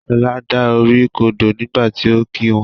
Shola dá orí kodò nígbàtí ọ kí wón.